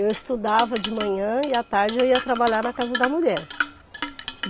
Eu estudava de manhã e à tarde eu ia trabalhar na casa da mulher.